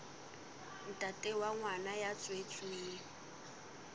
ntate wa ngwana ya tswetsweng